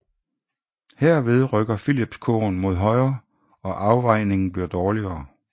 Herved rykker Phillipskurven mod højre og afvejningen bliver dårligere